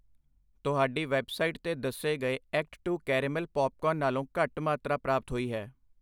ਤੁਹਾਡੀ ਵੈੱਬਸਾਈਟ 'ਤੇ ਦੱਸੇ ਗਏ ਐਕਟ ਟੂ ਕੈਰੇਮਲ ਪੌਪਕੌਰਨ ਨਾਲੋਂ ਘੱਟ ਮਾਤਰਾ ਪ੍ਰਾਪਤ ਹੋਈ ਹੈ I